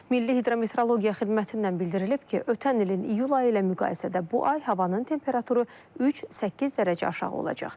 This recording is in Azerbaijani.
Milli hidrometeorologiya xidmətindən bildirilib ki, ötən ilin iyul ayı ilə müqayisədə bu ay havanın temperaturu 3-8 dərəcə aşağı olacaq.